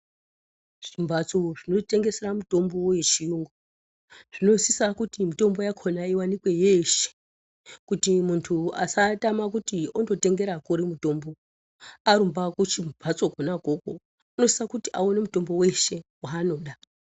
Zvimhatso zvinotengesera mitombo wechiyungu zvinosisa kuti mitombo yakhona iwanikwe yeshe kuti muntu asatama kuti ondotengera kuri mutombo. Arumba kumhatso kwona ukwokwo unosise kuti awane mutombo weshe waanoda.